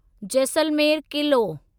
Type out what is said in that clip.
Jaisalmer Qila